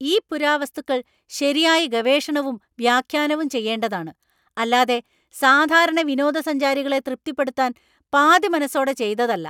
ഈ പുരാവസ്തുക്കൾ ശരിയായി ഗവേഷണവും വ്യാഖ്യാനവും ചെയ്യേണ്ടതാണ്. അല്ലാതെ സാധാരണ വിനോദസഞ്ചാരികളെ തൃപ്തിപ്പെടുത്താന്‍ പാതിമനസ്സോടെ ചെയ്തതല്ലാ.